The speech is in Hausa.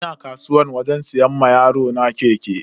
Ina kasuwa wajen siyan wa yarona keke.